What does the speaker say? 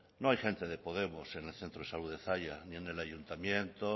no hay gente de podemos en el centro de salud de zalla ni en el ayuntamiento